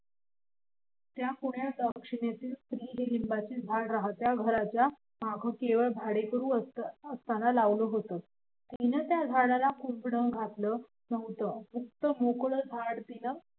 ज्या कुण्या दाक्षिणात्य स्त्रीने हे लिंबाचे झाड राहत्या घराच्या माग केवळ भाडेकरू असताना लावलं होत तीन त्या झाडाला कुंपण घातलं नव्हतं मुक्त मोकळं झाड तिनं